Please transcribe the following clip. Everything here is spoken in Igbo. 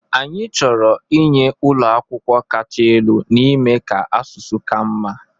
Anyị chọrọ inye ụlọ akwụkwọ kacha elu n'ime ka asụsụ ka mma